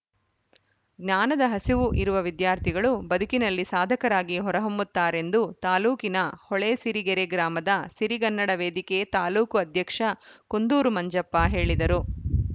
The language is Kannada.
ಜ್ಞಾನದ ಹಸಿವು ಇರುವ ವಿದ್ಯಾರ್ಥಿಗಳು ಬದುಕಿನಲ್ಲಿ ಸಾಧಕರಾಗಿ ಹೊರಹೊಮ್ಮುತ್ತಾರೆಂದು ತಾಲೂಕಿನ ಹೊಳೆಸಿರಿಗೆರೆ ಗ್ರಾಮದ ಸಿರಿಗನ್ನಡ ವೇದಿಕೆ ತಾಲೂಕು ಅಧ್ಯಕ್ಷ ಕುಂದೂರು ಮಂಜಪ್ಪ ಹೇಳಿದರು